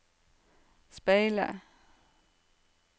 speile